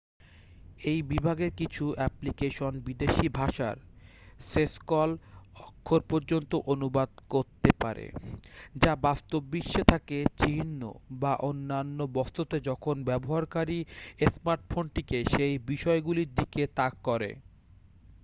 এই বিভাগের কিছু অ্যাপ্লিকেশন বিদেশী ভাষার সেসকল অক্ষর পর্যন্ত অনুবাদ করতে পারে যা বাস্তববিশ্বে থাকে চিহ্ন বা অন্যান্য বস্তুতে যখন ব্যবহারকারী স্মার্টফোনটিকে সেই বিষয়গুলির দিকে তাক করে